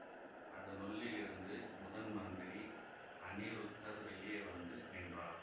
அதனுள்ளிலிருந்து முதன் மந்திரி அநிருத்தர் வெளியே வந்து நின்றார்